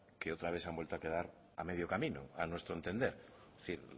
que otra vez se han vuelto a quedar a medio camino a nuestro entender es decir